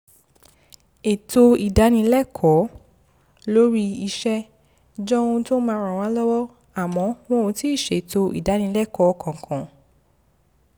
ètò ìdánilẹ́kọ̀ọ́ lórí iṣẹ́ jọ ohun tó máa ràn wá lọ́wọ́ àmọ́ wọn ò tíì ṣètò ìdánilẹ́kọ̀ọ́ kankan